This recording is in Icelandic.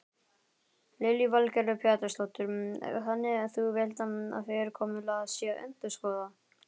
Lillý Valgerður Pétursdóttir: Þannig þú villt að fyrirkomulag sé endurskoðað?